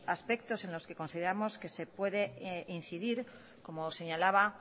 aspectos en los que consideramos que se puede incidir como señalaba